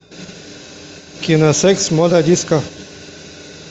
кино секс мода диско